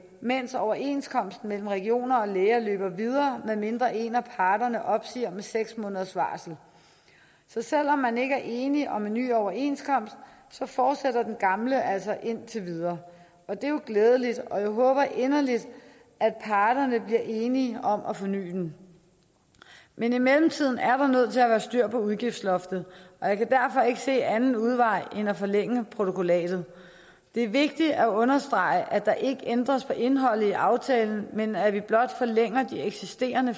mens overenskomsten mellem regioner og læger løber videre medmindre en af parterne opsiger den med seks måneders varsel så selv om man ikke er enig om en ny overenskomst fortsætter den gamle altså indtil videre det er jo glædeligt og jeg håber inderligt at parterne bliver enige om at forny den men i mellemtiden er vi nødt til at have styr på udgiftsloftet og jeg kan derfor ikke se anden udvej end at forlænge protokollatet det er vigtigt at understrege at der ikke ændres på indholdet i aftalen men at vi blot forlænger den eksisterende